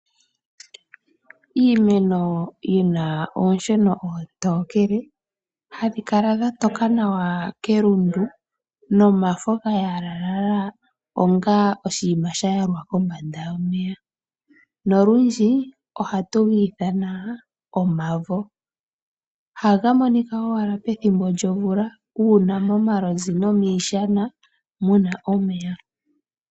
Iimeno yi na oonsheno oontookele hadhi kala dha toka nawa kelundu nomafo ga yalalala onga oshinima sha yalwa kombanda yomeya, nolundji ohatu gi ithana omavo. Ohaga monika owala pethimbo lyomvula uuna momalonzi nomiishana mu na omeya.